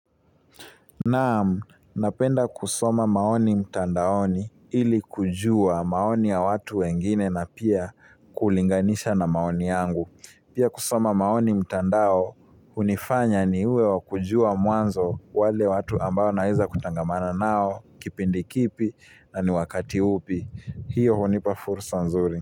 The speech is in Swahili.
Naam, napenda kusoma maoni mtandaoni ili kujua maoni ya watu wengine na pia kulinganisha na maoni yangu. Pia kusoma maoni mtandao, hunifanya ni uwe wa kujua mwanzo wale watu ambao naiza kutangamana nao, kipindi kipi na ni wakati upi. Hiyo hunipa furusa nzuri.